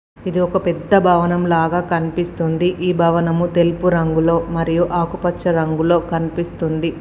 ఇది ఒక పెద్ద భవనం లాగా కనిపిస్తుంది ఈ భవనము తెలుపు రంగులో మరియు ఆకుపచ్చ రంగులో కనిపిస్తుంది.